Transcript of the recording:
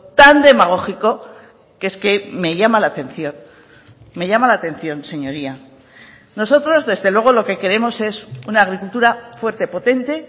tan demagógico que es que me llama la atención me llama la atención señoría nosotros desde luego lo que queremos es una agricultura fuerte potente